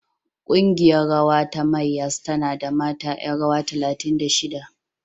Ƙungiyar rawa ta Mayyas tana da mata ƴan rawa talatin da shida.